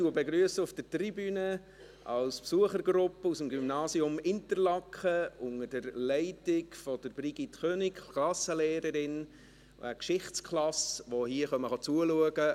Ich begrüsse auf der Tribüne als Besuchergruppe vom Gymnasium Interlaken, unter der Leitung der Klassenlehrerin Brigitte König eine Geschichtsklasse, die uns heute zuschaut.